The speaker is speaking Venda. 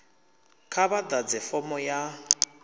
kha vha ḓadze fomo ya